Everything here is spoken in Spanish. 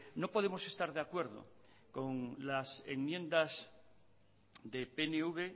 no podemos estar de acuerdo con las enmiendas de pnv